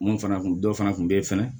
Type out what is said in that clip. Mun fana kun dɔ fana tun bɛ yen fɛnɛ